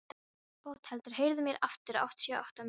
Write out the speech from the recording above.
Bóthildur, heyrðu í mér eftir áttatíu og átta mínútur.